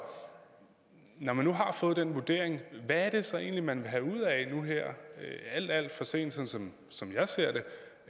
når man nu har fået den vurdering hvad er det så egentlig man vil have ud af nu her alt alt for sent som jeg ser det